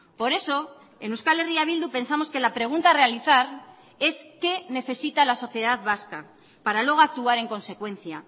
por eso en euskal herria bildu pensamos que la pregunta a realizar es qué necesita la sociedad vasca para luego actuar en consecuencia